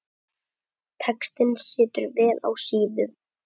Textinn situr vel á síðum.